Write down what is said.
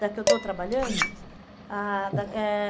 Da que eu estou trabalhando? Isso. Ah, da eh